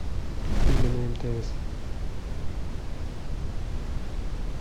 или на мтс